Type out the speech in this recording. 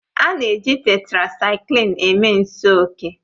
A na-eji Tetrasaiklin eme nsi oke